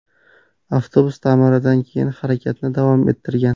Avtobus ta’mirdan keyin harakatni davom ettirgan.